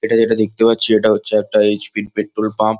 এটা যেটা দেখতে পাচ্ছি এটা হচ্ছে একটা এইচ. পি. -এর পেট্রল পাম্প ।